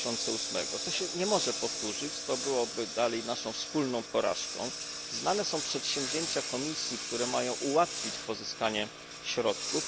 2008. To nie może się powtórzyć. Byłoby to naszą wspólną porażką. Znane są przedsięwzięcia Komisji, które mają ułatwić pozyskanie środków.